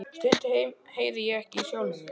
Stundum heyri ég ekki í sjálfum mér.